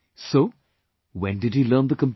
So, when did he learn the computer